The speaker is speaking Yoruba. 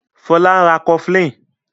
Fola ń rá cofflin